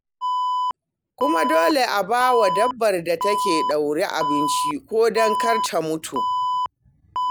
Kuma dole a ba wa dabbar da aka ɗaure abinci ko don kar ta mutu.